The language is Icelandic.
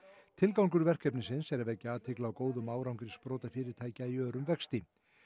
tilgangur verkefnisins er að vekja athygli á góðum árangri sprotafyrirtækja í örum vexti